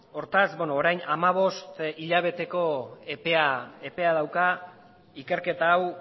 hortaz orain hamabost hilabeteko epea dauka ikerketa hau